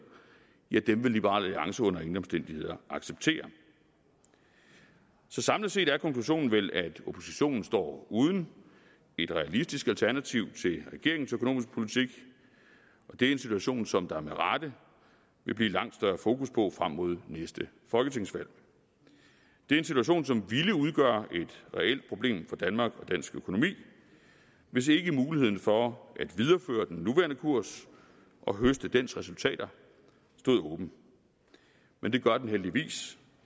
dem vil liberal alliance under ingen omstændigheder acceptere samlet set er konklusionen vel at oppositionen står uden et realistisk alternativ til regeringens økonomiske politik det er en situation som der med rette vil blive langt større fokus på frem mod næste folketingsvalg det er en situation som ville udgøre et reelt problem for danmark og dansk økonomi hvis ikke muligheden for at videreføre den nuværende kurs og høste dens resultater stod åben men det gør den heldigvis